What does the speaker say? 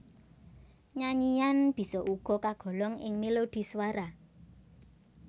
Nyanyian bisa uga kagolong ing melodhi swara